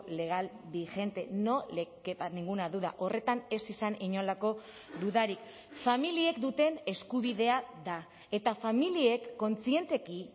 legal vigente no le quepa ninguna duda horretan ez izan inolako dudarik familiek duten eskubidea da eta familiek kontzienteki